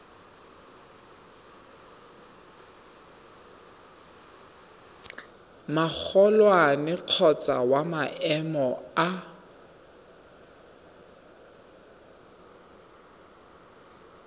magolwane kgotsa wa maemo a